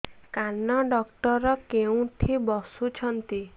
କାନ ଡକ୍ଟର କୋଉଠି ବସୁଛନ୍ତି